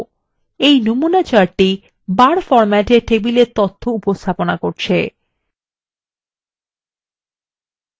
নমুনা chart বার ফরমেটএ table তথ্যর উপস্থাপনা দেখায়